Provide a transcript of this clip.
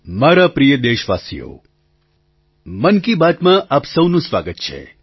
મારા પ્રિય દેશવાસીઓ મન કી બાતમાં આપ સહુનું સ્વાગત છે